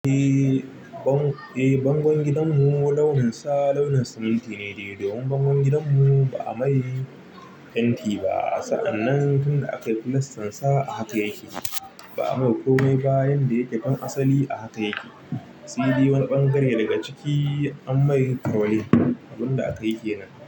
Eh, bangon gidanmu launin sa launin siminti ne dai domin bangon gidanmu ba a mai fenti ba. Sa'an nan tun da aka yi fulas tan sansa a haka yake. Ba'a mai komai ba, yanda yake kan asali a haka yake. Si di wani ɓangare daga ciki ammai kaure abun da akayi kenan.